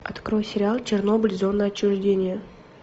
открой сериал чернобыль зона отчуждения